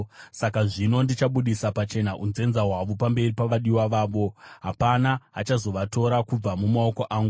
Saka zvino ndichabudisa pachena unzenza hwavo pamberi pavadiwa vavo; hapana achazovatora kubva mumaoko angu.